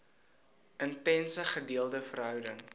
intense gedeelde verhouding